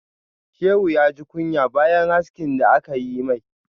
Shehu ya ji kunya bayan haski da aka yi mai.